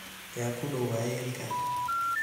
Yaa kudow wayelka.